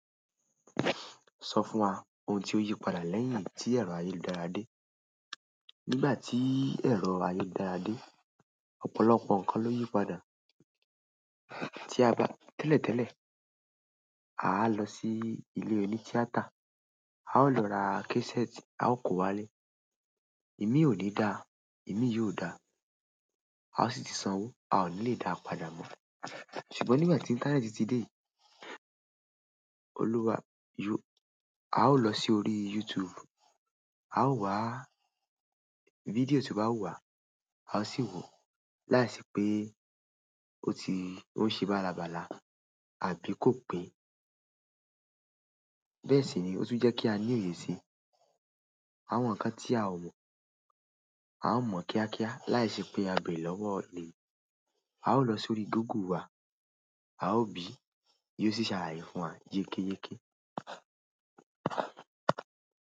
Sọ fún wa ohun tí ó yípadà lẹ́yìn tí ẹ̀rọ ayélujára dé. Nígbà tí ẹ̀rọ ayélujára dé, ọ̀pọ̀lọpọ̀ ǹkan ló yípadà. Tí a bá, tẹ́lẹ̀tẹ́lẹ̀, à lọ sí ilé oní tíátà, à ó lọ ra késẹ́ẹ̀tì, à ó kó wá lé. Imi ò ní dáa, imi yóò da, à ó sì ti sanwó, à ò ní lẹ́ dáa padà mọ́. Ṣùgbọ́n nígbà tí íńtánẹ́ẹ̀tì ti dé, olúwa, yó, à ó lọ si órí YouTube, à ó wá fídíò tí bá wuwà, à ó sì wó láìṣẹ́ pé ó ti o ń ṣe bálabala àbí kò pé. Bẹ́ẹ̀ sini o tun je ki a ni oye si àwọn ǹkan tí a ò mọ̀, à n mọ̀ kíákíá láìṣẹ́ pé a béèrè lọ́wọ́ ènìyàn. À ó lọ sórí Google wá, à ó bí, yóò sì ṣàlàyé fún wa yékéyéké.